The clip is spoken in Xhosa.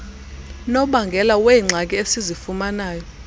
nobangela weengxaki esizifumanayo